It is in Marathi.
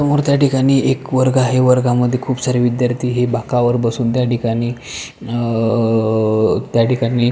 समोर त्याठिकाणी एक वर्ग आहे वर्गामध्ये खूप सारे विद्यार्थी हे बाकावर बसून त्या ठिकाणी अ अ त्याठिकाणी--